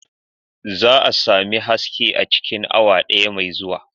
Za a sami haske a cikin awa daya mai zuwa.